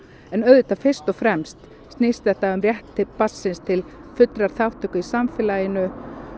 en auðvitað fyrst og fremst snýst þetta um rétt barnsins til fullrar þátttöku í samfélaginu